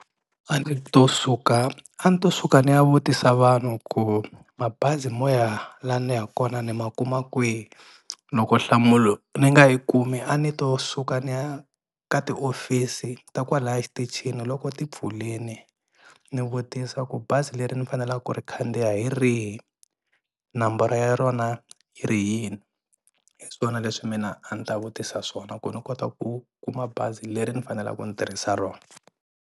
A ni to suka a ni to suka ni ya vutisa vanhu ku mabazi mo ya laha ni yaka kona ni ma kuma kwihi loko nhlamulo ni nga yi kumi a ni to suka ni ya ka tiofisi ta kwalaya xitichini loko ti pfulini ni vutisa ku bazi leri ni faneleka ku ri khandziya hi rihi namboro ya rona yi ri yini hi swona leswi mina a ni ta vutisa swona ku ni kota ku kuma bazi leri ni fanelaka ni tirhisa rona.